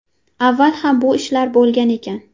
Avval ham bu ishlar bo‘lgan ekan.